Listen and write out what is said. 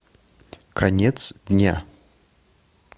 конец дня